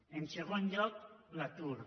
en segon lloc l’atur